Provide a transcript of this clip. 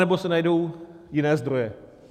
Anebo se najdou jiné zdroje.